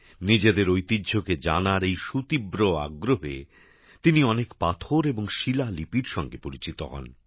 নিজেদের ঐতিহ্যকে জানার এই সুতীব্র আগ্রহে তিনি অনেক পাথর এবং শিলালিপির সঙ্গে পরিচিত হন